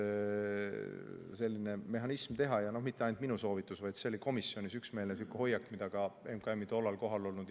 Selline mehhanism teha ja mitte ainult minu soovitus, vaid see oli komisjonis üksmeelne hoiak, mida ka MKM-i kohal olnud inimesed toetasid.